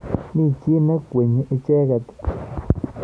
Mi chi nekwengyin icheket.